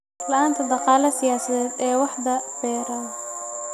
La'aanta dhaqaale siyaasadeed ee waaxda beeraha.